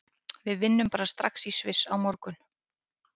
Við vinnum bara strax í Sviss á morgun.